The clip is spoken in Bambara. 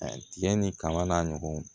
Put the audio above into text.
Tiga ni kaba n'a ɲɔgɔnw